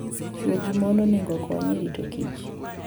Chwo gi mon onego okony e rito kich.